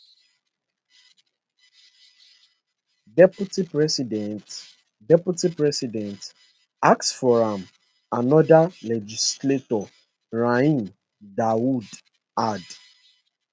[deputy president] [deputy president] ask for am anoda legislator rahim dawood add